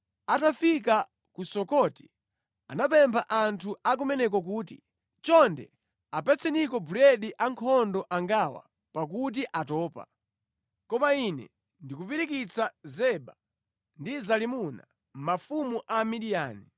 Atafika ku Sukoti anapempha anthu a kumeneko kuti, “Chonde apatseniko buledi ankhondo angawa pakuti atopa. Koma ine ndikupirikitsa Zeba ndi Zalimuna, mafumu a Midiyani.”